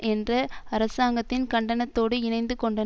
என்ற அரசாங்கத்தின் கண்டனத்தோடு இணைந்து கொண்டார்